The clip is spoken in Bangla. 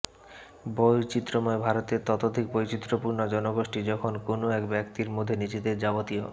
বৈচিত্রময় ভারতের ততোধিক বৈচিত্রপূর্ণ জনগোষ্ঠী যখন কোনও এক ব্যক্তির মধ্যে নিজেদের যাবতীয়